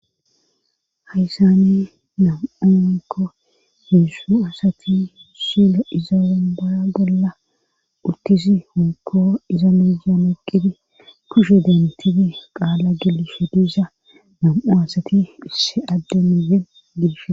hayssani nam7u woykko hezdzdu asati shilo iza umbaa bolla uttisi honko iza muya moqidi kushe dentidi qaala gilshediza nam7u asati isse adde miyen gibshe